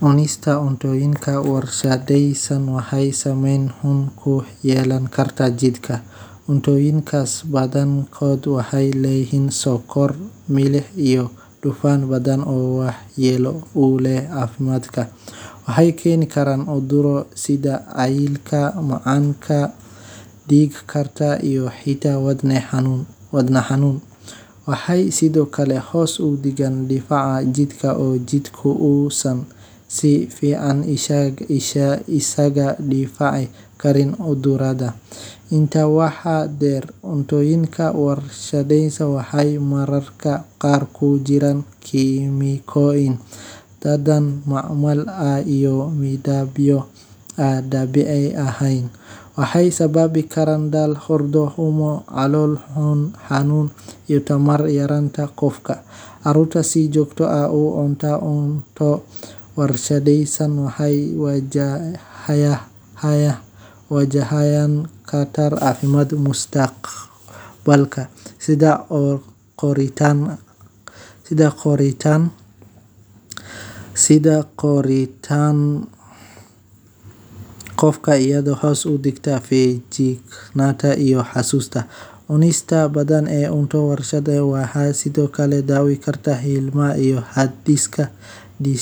Cunista cunnooyinka warshadaysan waxay saamayn weyn ku yeelan kartaa jidhka, gaar ahaan marka si joogto ah loo isticmaalo. Cunnooyinkan, oo badanaa hodan ku ah sonkor, cusbo, dufan badan iyo kiimikooyin lagu daray si loo ilaaliyo ama loo wanaajiyo dhadhanka, waxay keeni karaan culeys badan oo ku yimaada hab-dhiska dheefshiidka. Isticmaalka badan ee cunnooyinka noocan ah wuxuu kor u qaadaa khatarta cudurrada sida